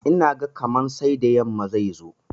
Ina ga kaman sai da yamma zai zo.